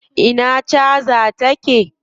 Ina caja ta take?